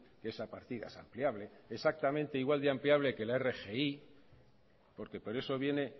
que esa partida es ampliable exactamente igual de ampliable que la rgi porque por eso viene